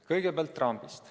Kõigepealt rambist.